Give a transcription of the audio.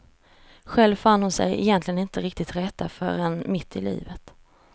Själv fann hon sig egentligen inte riktigt till rätta förrän mitt i livet.